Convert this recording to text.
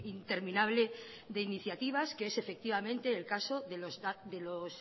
interminable de iniciativas que es efectivamente el caso de los